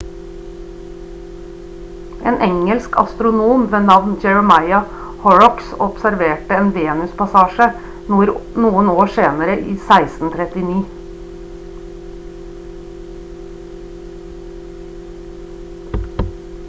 en engelsk astronom ved navn jeremiah horrocks observerte en venuspassasje noen år senere i 1639